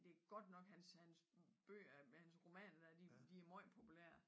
Det godt nok hans hans bøger med hans romaner dér de meget populære